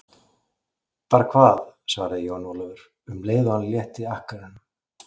Bara hvað, svaraði Jón Ólafur um leið og hann létti akkerunum.